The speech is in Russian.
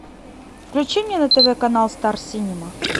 включи мне на тв канал стар синема